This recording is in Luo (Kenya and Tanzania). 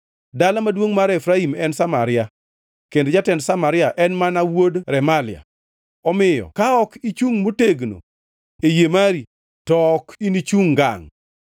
Dala maduongʼ mar Efraim en Samaria, kendo jatend Samaria en mana wuod Remalia. Omiyo ka ok ichungʼ motegno e yie mari, to ok inichung ngangʼ.’ ”